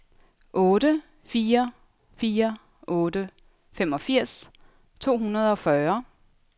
otte fire fire otte femogfirs to hundrede og fyrre